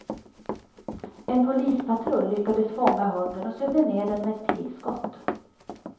En polispatrull lyckades fånga hunden och sövde ner den med ett pilskott.